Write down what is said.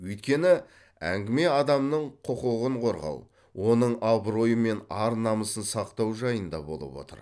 өйткені әңгіме адамның құқығын қорғау оның абыройы мен ар намысын сақтау жайында болып отыр